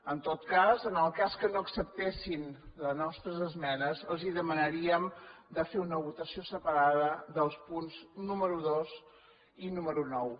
en tot cas en el cas que no acceptessin les nostres esmenes els demanaríem de fer una votació separada dels punts número dos i número nou